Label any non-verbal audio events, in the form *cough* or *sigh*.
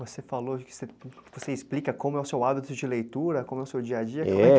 Você falou *unintelligible* explica como é o seu hábito de leitura, como é o seu dia a dia, como é que é? É...